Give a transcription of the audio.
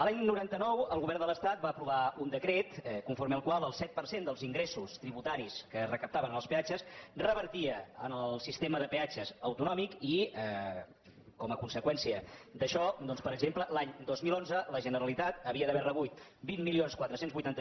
l’any dinou noranta nou el govern de l’estat va aprovar un decret conforme el qual el set per cent dels ingressos tributaris que es recaptaven en els peatges revertia en el sistema de peatges autonòmic i com a conseqüència d’això doncs per exemple l’any dos mil onze la generalitat havia d’haver rebut vint mil quatre cents i vuitanta